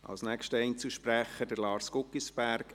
Eines muss man Ihnen lassen, Daniel Trüssel.